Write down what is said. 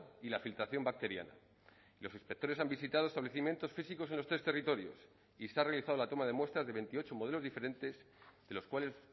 y la filtración bacteriana los inspectores han visitado establecimientos físicos en los tres territorios y se ha realizado la toma de muestras de veintiocho modelos diferentes de los cuales